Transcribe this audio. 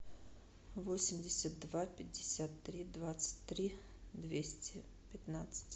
восемьдесят два пятьдесят три двадцать три двести пятнадцать